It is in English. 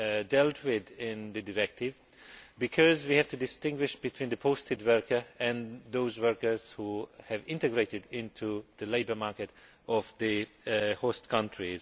dealt with in the directive, because we have to distinguish between posted workers and those workers who have become integrated into the labour market of the host country.